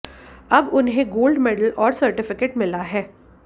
अब उन्हें gold medal और सर्टिफिकेट मिला है